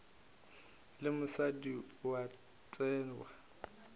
le mosadi o a thewa